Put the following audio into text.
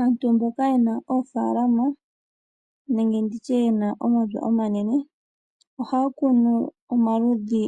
Aantu mboka ye na oofalalama nenge mboka ye na omapya omanene o ha ya kunu omaludhi